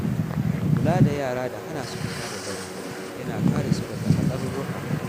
Kula da yara da hana su fita da dare yana kare su daga hatsarurruka.